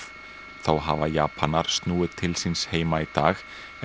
þá hafa Japanar snúið til síns heima í dag en